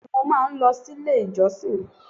Bẹ́ẹ̀ni mo máa n lo sílé ìjọsìn